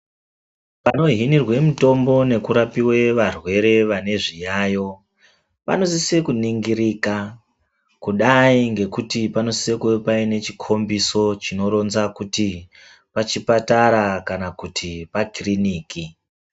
Panohinirwe mutombo nekurapive varwere vane zviyayo panosise kunongirika. Kudai ngekuti panosise kuva paine chikombiso chinoronza kuti pachipatara kana kuti pakiriniki.